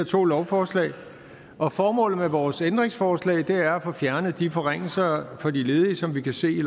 to lovforslag og formålet med vores ændringsforslag er at få fjernet de forringelser for de ledige som vi kan se i